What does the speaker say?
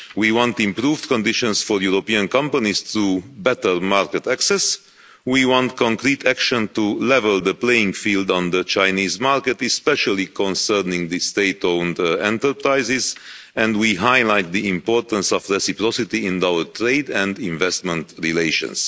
We want improved conditions for European companies to better market access, we want concrete action to level the playing field on the Chinese market, especially concerning state owned enterprises, and we highlight the importance of reciprocity in our trade and investment relations.